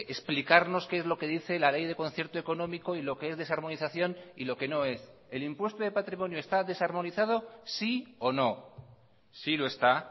explicarnos qué es lo que dice la ley de concierto económico y lo que es desarmonización y lo que no es el impuesto de patrimonio está desarmonizado sí o no sí lo está